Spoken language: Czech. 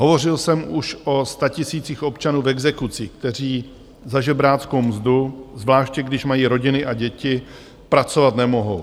Hovořil jsem už o statisících občanů v exekucích, kteří za žebráckou mzdu, zvláště když mají rodiny a děti, pracovat nemohou.